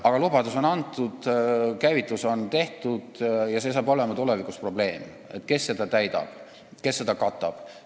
... aga lubadus on antud, asi on käivitatud ja tulevikus tekib probleem, kes seda lubadust täidab ja kes seda katab.